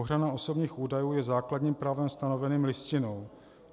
Ochrana osobních údajů je základním právem stanoveným Listinou.